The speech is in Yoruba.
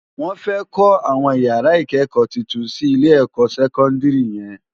Wòn fè kò áwòn iyárá ikëkò tútún si Ilé èkò sèkòndiri yèn